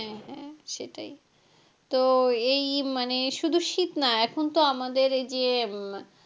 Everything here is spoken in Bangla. হ্যাঁ হ্যাঁ সেটাই তো এই মানে শুধু শীত না এখন তো আমাদের এইযে,